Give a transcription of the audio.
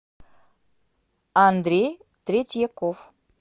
андрей третьяков